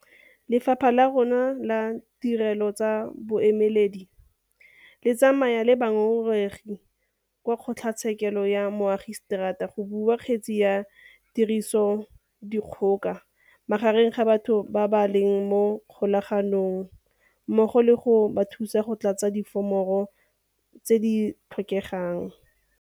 Lephata la rona la ditirelo tsa bobueledi le tsamaya le bangongoregi kwa kgotlatshekelo ya moagiseterata go bula kgetse ya tirisodikgoka magareng ga batho ba ba leng mo kgolaganong mmogo le go ba thusa go tlatsa diforomo tse di tlhokegang.